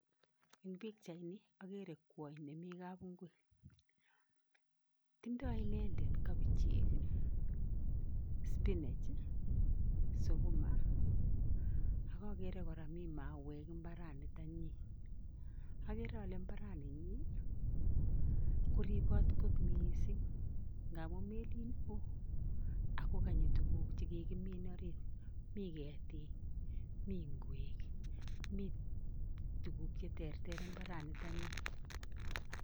Eng pikchaini akere kwony nemi kapinkui. Tindoi inendet kapichek, spinach, sukuma, ak akere kora mi mauek mbaranitonyi. Akere ale mbaraninyi koribot kot mising nkamu melen oo akokanyi tuguk chekakimin orit. Mi ketik, mi ng'wek mi tuguk cheterter mbaranitonyi.